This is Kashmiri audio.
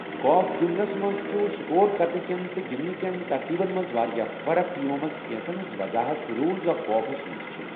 گولف گِنٛدنَس منٛز چھُ سکور کرنِہٕ كین تہٕ گِنٛدنِہٕ کین ترتیبن منٛز واریٛاہ فرق، یِمَو منٛز کینٛژن ہِنٛز وضاحت رولز آف گالفَس منٛز چھِ ۔